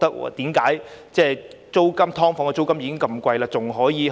"劏房"的租金已經很貴，為何還可以有這個加幅？